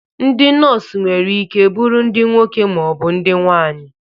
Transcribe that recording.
Ndị nọs nwere ike bụrụ ndị nwoke ma ọ bụ ndị nwaanyị.